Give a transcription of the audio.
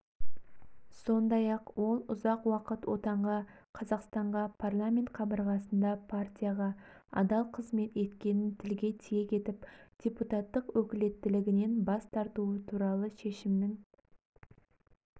сондай-ақ ол ұзақ уақыт отанға қазақстанға парламент қабырғасында партияға адал қызмет еткенін тілге тиек етіп депутаттық өкілеттілігінен бас тартуы туралы шешімнің